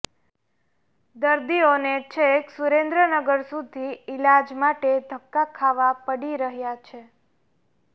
દર્દીઓને છેક સુરેન્દ્રનગર સુધી ઈલાજ માટે ધક્કા ખાવા પડી રહ્યાં છે